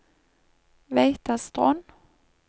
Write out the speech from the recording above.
Veitastrond